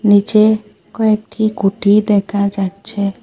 নীচে কয়েকটি গুটি দেখা যাচ্ছে।